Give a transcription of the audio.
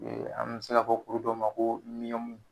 an bɛ se ka fɔ kuru dɔ ma ko